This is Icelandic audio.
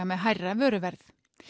með hærra vöruverð